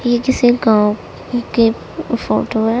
ये किसी गांव के फोटो है।